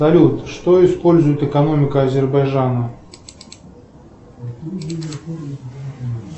салют что использует экономика азербайджана